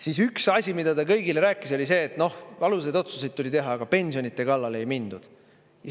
Siis üks asi, mida te kõigile rääkis, oli see, et noh, valusaid otsuseid tuli teha, aga pensionide kallale ei mindud.